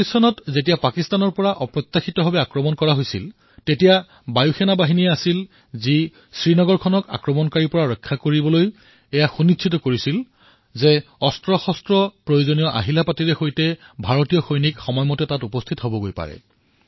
১৯৪৭ চনত যেতিয়া পাকিস্তানৰ আক্ৰমণকাৰীয়ে এক অপ্ৰত্যাশিত আক্ৰমণ আৰম্ভ কৰিছিল তেতিয়া এই বায়ুসেনাই শ্ৰীনগৰক আক্ৰমণকাৰীৰ পৰা ৰক্ষা কৰিবলৈ এয়া সুনিশ্চিত কৰিছিল যে ভাৰতীয় সৈনিক আৰু উপকৰণ যুদ্ধস্থলীলৈ যাতে সময়ত উপস্থিত হব পাৰে